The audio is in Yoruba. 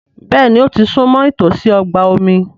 Béèni ó ti súnmọ́ ìtòsí ọgbà omi.